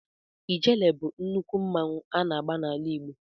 Ijele bụ nnukwu mmanwụ a na-agba n'ala Igbo.